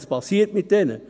Was passiert mit ihnen?